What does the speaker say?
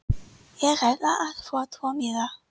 Ég ætla að fá tvo miða.